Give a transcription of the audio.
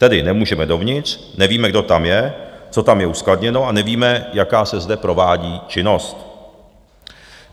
Tedy nemůžeme dovnitř, nevíme, kdo tam je, co tam je uskladněno, a nevíme, jaká se zde provádí činnost.